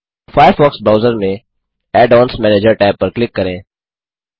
Firefox browser में add ons manager tab पर click करें